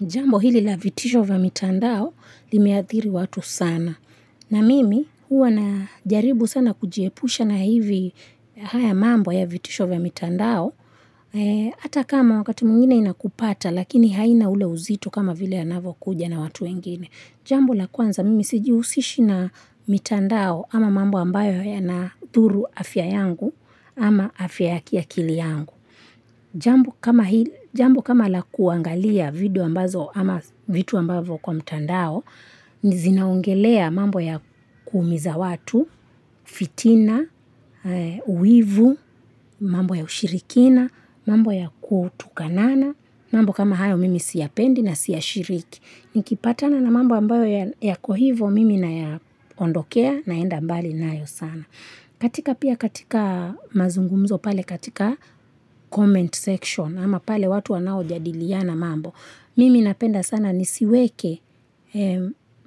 Jambo hili la vitisho vya mitandao limeathiri watu sana. Na mimi huwa najaribu sana kujiepusha na hivi haya mambo ya vitisho vya mitandao Hata kama wakati mwingine unakupata lakini haina ule uzito kama vile anavokuja na watu wengine. Jambo la kwanza mimi sijihusishi na mitandao ama mambo ambayo yanadhuru afya yangu ama afya ya kiakili yangu. Jambo kama la kuangalia video ambazo ama vitu ambazo kwa mitandao, zinaongelea mambo ya kuumiza watu, fitina, wivu, mambo ya ushirikina, mambo ya kutukanana, mambo kama hayo mimi siyapendi na siyashiriki. Nikipatana na mambo ambayo yako hivo mimi nayaondokea naenda mbali nayo sana. Katika pia katika mazungumzo pale katika comment section ama pale watu wanaojadiliana mambo. Mimi napenda sana nisiweke